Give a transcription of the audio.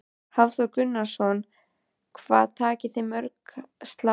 Hafþór Gunnarsson: Hvað takið þið mörg slátur?